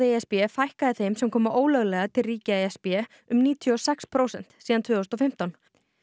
e s b fækkaði þeim sem koma ólöglega til ríkja e s b um níutíu og sex prósent síðan tvö þúsund og fimmtán